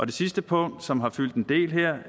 det sidste punkt som har fyldt en del